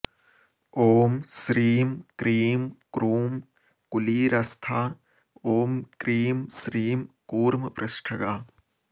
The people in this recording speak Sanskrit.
ॐ श्रीं क्रीं क्रूं कुलीरस्था ॐ क्रीं श्रीं कूर्मपृष्ठगा